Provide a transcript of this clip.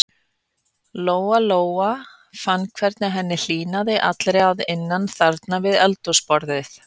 Lóa-Lóa fann hvernig henni hlýnaði allri að innan þarna við eldhúsborðið.